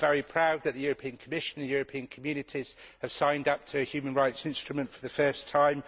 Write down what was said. I am very proud that the European Commission and the European Communities have signed up to a human rights instrument for the first time.